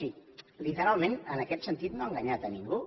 si literalment en aquest sentit no ha enganyat a ningú